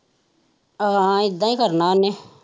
ਹਾਂ ਇਹਦਾ ਹੀ ਕਰਨਾ ਉਹਨੇ।